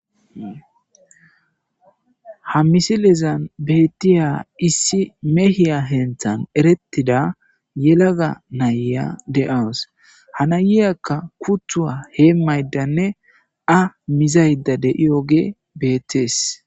Ha misilezan bettiya issi mehiya henthan erettida yelaga nayya de7awus hanayiyakka kuthuwa hee maydanne a mizayda de,iyoge bettees.